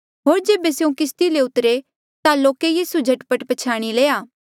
होर जेबे स्यों किस्ती ले उतरे ता लोके यीसू झट पट पछयाणी लया